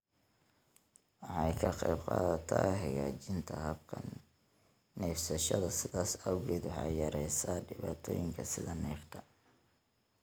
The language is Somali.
Waxay ka qaybqaadataa hagaajinta habka neefsashada, sidaas awgeed waxay yareysaa dhibaatooyinka sida neefta.